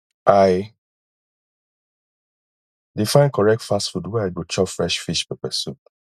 i dey find correct fast food where i go chop fresh fish pepper soup